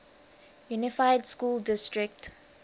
unified school district